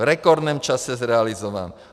V rekordním čase zrealizován.